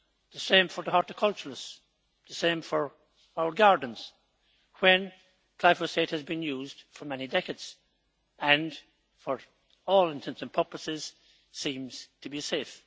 The same for the horticulturists, the same for our gardens when glyphosate has been used for many decades and, to all intents and purposes, seems to be safe.